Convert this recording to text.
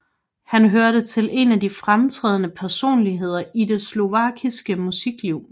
Han hørte til en af de fremtrædende personligheder i det slovakiske musikliv